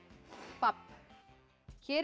babb hér er